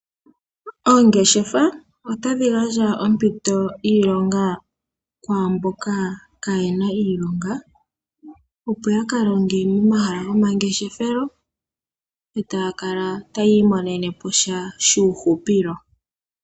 Oongeshefa otadhi gandja oompito dhiilonga kwamboka ka yena iilonga, opo ya ka longe momahala gomangeshefelo, e taya kala taya imonene po sha shuuhupilo.